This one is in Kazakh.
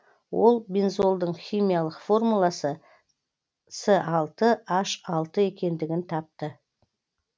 ол бензолдың химиялық формуласы с алты н алты екендігін тапты